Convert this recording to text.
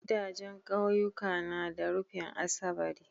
Gidajan ƙauyuka na da rufin asabari